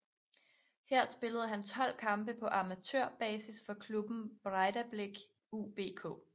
Her spillede han 12 kampe på amatørbasis for klubben Breiðablik UBK